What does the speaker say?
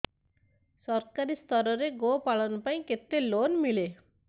ସରକାରୀ ସ୍ତରରେ ଗୋ ପାଳନ ପାଇଁ କେତେ ଲୋନ୍ ମିଳେ